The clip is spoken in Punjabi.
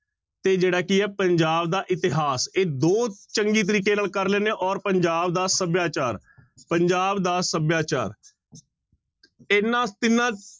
ਤੇ ਜਿਹੜਾ ਕੀ ਹੈ ਪੰਜਾਬ ਦਾ ਇਤਿਹਾਸ, ਇਹ ਦੋ ਚੰਗੀ ਤਰੀਕੇ ਨਾਲ ਕਰ ਲੈਂਦੇ ਹਾਂ ਔਰ ਪੰਜਾਬ ਦਾ ਸਭਿਆਚਾਰ, ਪੰਜਾਬ ਦਾ ਸਭਿਆਚਾਰ ਇਹਨਾਂ ਤਿੰਨਾਂ